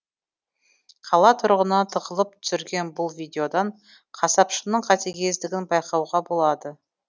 қала тұрғыны тығылып түсірген бұл видеодан қасапшының қатігездігін байқауға болады